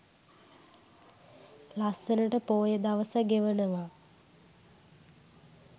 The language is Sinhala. ලස්සනට පෝය දවස ගෙවනවා.